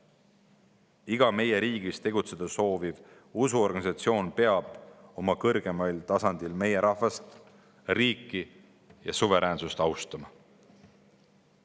Iga meie riigis tegutseda sooviv usuorganisatsioon peab oma kõrgeimal tasandil meie rahvast, riiki ja suveräänsust austama.